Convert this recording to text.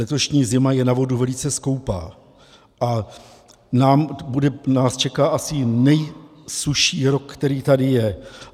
Letošní zima je na vodu velice skoupá a nás čeká asi nejsušší rok, který tady je.